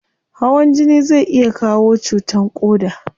Hawan jini zai iya kawo cutan koda